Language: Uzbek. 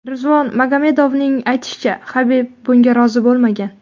Rizvon Magomedovning aytishicha, Habib bunga rozi bo‘lmagan.